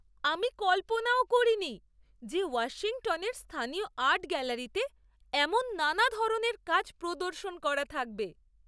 আমি কল্পনাও করিনি যে ওয়াশিংটনের স্থানীয় আর্ট গ্যালারিতে এমন নানা ধরনের কাজ প্রদর্শন করা থাকবে!